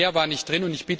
Mehr war nicht drin.